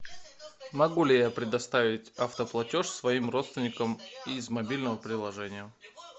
могу ли я предоставить автоплатеж своим родственникам из мобильного приложения